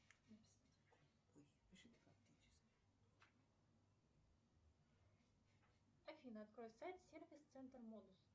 афина открой сайт сервис центр модус